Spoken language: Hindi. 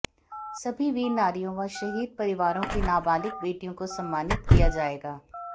सभी वीर नारियों व शहीद परिवारों की नाबालिग बेटियों को सम्मानित किया जाएगा